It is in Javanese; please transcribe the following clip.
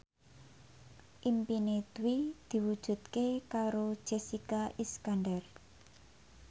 impine Dwi diwujudke karo Jessica Iskandar